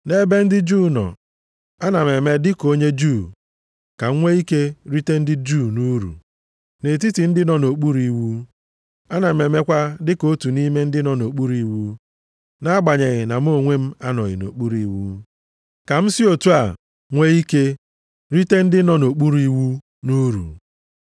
Nʼebe ndị Juu nọọ, ana m eme dịka onye Juu, ka m nwee ike rite ndị Juu nʼuru. Nʼetiti ndị nọ nʼokpuru iwu, ana m emekwa dịka otu nʼime ndị nọ nʼokpuru iwu (nʼagbanyeghị na mụ onwe m anọghị nʼokpuru iwu), ka m si otu a nwee ike rite ndị nọ nʼokpuru iwu nʼuru.